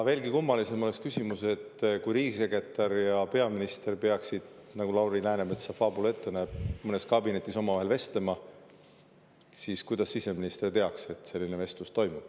Veelgi kummalisem oleks küsimus, et kui riigisekretär ja peaminister peaksid – nagu Lauri Läänemetsa faabula ette näeb – mõnes kabinetis omavahel vestlema, siis kuidas siseminister teab, et selline vestlus toimus.